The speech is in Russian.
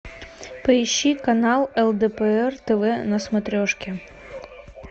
поищи канал лдпр тв на смотрешке